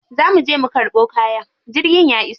Za muje mu karɓo kaya, jirgin ya iso.